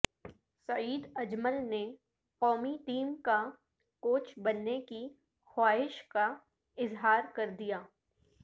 سعید اجمل نے قومی ٹیم کا کوچ بننے کی خواہش کا اظہار کردیا